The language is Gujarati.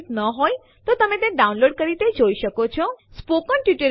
આદેશ નિર્દેશ કરે છે કે ફાઇલને 6 લીટીઓ 67 શબ્દો અને 385 અક્ષરો છે